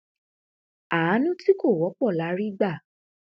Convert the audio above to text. àánú tí kò wọpọ la rí gbà